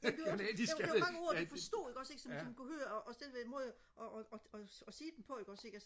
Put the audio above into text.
det er jo også der er mange ord de forstod ikke også ikke som kunne høre også en måde og sige dem på ikke